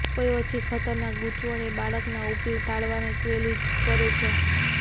કોઈ ઓછી ખતરનાક ગૂંચવણ એ બાળકના ઉપલા તાળવાને ક્લેવીજ કરે છે